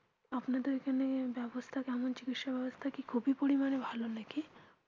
আপনাদের ওখানে ব্যবস্থা কেমন চিকিৎসা ব্যবস্থা কি খুবই পরিমানে ভালো নাকি